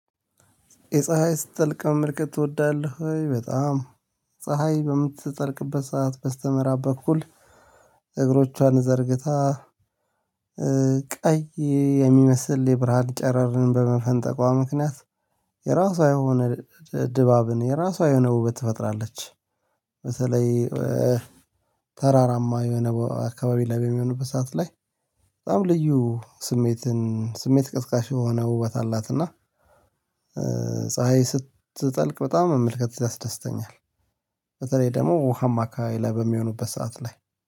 የፀሀይ ስትጠልቅ መመልከት ትወዳለህ? በጣም ፀሀይ በምትጠልቅበት ሰዓት በስተምዕራብ በኩል እግሮቿን ዘርግታ ቀይ የሚመስል የብርሃን ጨረርን በመፈንጠቋ ምክንያት የራሷ የሆነ ድባብን የራሷ የሆነ ውበት ትፈጥራለች። በተለይ ተራራማ የሆነ አካባቢ ላይ በሚሆኑበት ሰዓት ላይ በጣም ልዩ ስሜትን ስሜት ቀስቃሽ የሆነ ውበት አላት። እና ስትጠልቅ በጣም መመልከት ያስደስተኛል። በተለይ ደግሞ ውሃማ አካባቢ ላይ በሚሆንበት ሰዓት ላይ